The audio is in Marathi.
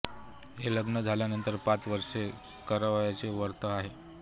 हे लग्न झाल्यानंतर पाच वर्षे करावयाचे व्रत आहे